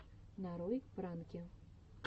нарой пранки